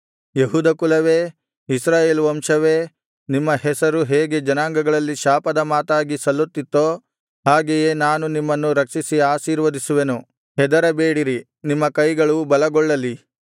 ಯೆಹೂದ ಕುಲವೇ ಇಸ್ರಾಯೇಲ್ ವಂಶವೇ ನಿಮ್ಮ ಹೆಸರು ಹೇಗೆ ಜನಾಂಗಗಳಲ್ಲಿ ಶಾಪದ ಮಾತಾಗಿ ಸಲ್ಲುತ್ತಿತ್ತೋ ಹಾಗೆಯೇ ನಾನು ನಿಮ್ಮನ್ನು ರಕ್ಷಿಸಿ ಆಶೀರ್ವದಿಸುವೆನು ಹೆದರಬೇಡಿರಿ ನಿಮ್ಮ ಕೈಗಳು ಬಲಗೊಳ್ಳಲಿ